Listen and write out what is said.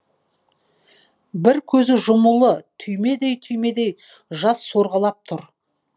бір көзі жұмулы түймедей түймедей жас сорғалап тұр